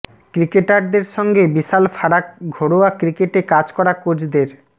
ক্রিকেটারদের সঙ্গে বিশাল ফারাক ঘরোয়া ক্রিকেটে কাজ করা কোচদের